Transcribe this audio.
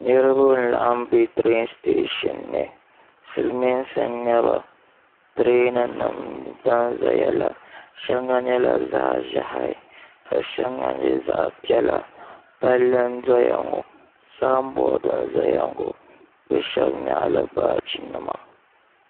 niriba n laɣi m-be tireeni siteshin ni silimiinsi n-nyɛ ba tireeninima n za n zayala shaŋa nyɛla zaɣ' ʒehi ka shaŋa nyɛ zaɣ' piɛla palli n doya ŋɔ saamboori n saya ŋɔ bɛ shaba nyaɣila baajinima